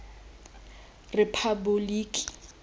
rephaboliki